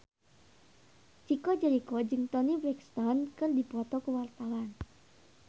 Chico Jericho jeung Toni Brexton keur dipoto ku wartawan